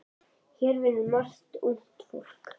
Hér vinnur margt ungt fólk.